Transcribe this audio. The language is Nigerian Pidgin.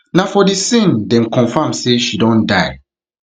na for di scene dem confam say she don die